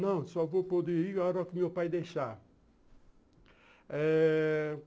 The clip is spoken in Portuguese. Não, só vou poder ir agora que o meu pai deixar.